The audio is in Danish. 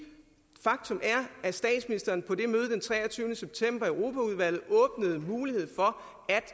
faktum er at statsministeren på det møde den treogtyvende september i europaudvalget åbnede muligheden for